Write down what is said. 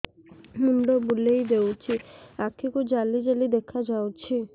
ମୁଣ୍ଡ ବୁଲେଇ ଦେଉଛି ଆଖି କୁ ଜାଲି ଜାଲି ଦେଖା ଯାଉଛି